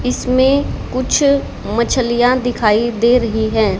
इसमें कुछ मछलियां दिखाई दे रही हैं।